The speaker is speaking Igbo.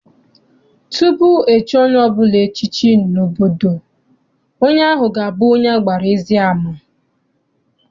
Tupu echie onye ọbụla echiche n'obodo, onye ahụ ga abụ onye agbara ezi ama.